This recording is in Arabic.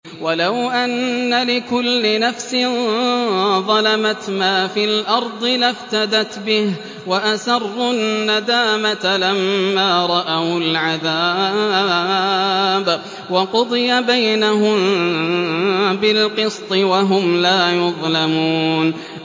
وَلَوْ أَنَّ لِكُلِّ نَفْسٍ ظَلَمَتْ مَا فِي الْأَرْضِ لَافْتَدَتْ بِهِ ۗ وَأَسَرُّوا النَّدَامَةَ لَمَّا رَأَوُا الْعَذَابَ ۖ وَقُضِيَ بَيْنَهُم بِالْقِسْطِ ۚ وَهُمْ لَا يُظْلَمُونَ